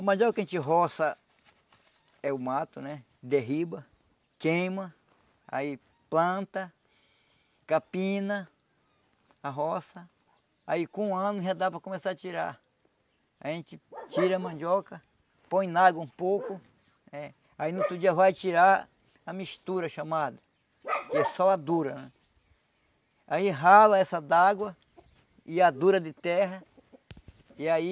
A mandioca que a gente roça é o mato, né derriba queima aí planta capina a roça aí com um ano já dá para começar a tirar a gente tira a mandioca põe na água um pouco né aí no outro dia vai tirar a mistura chamada que é só a dura né aí rala essa d'água e a dura de terra e aí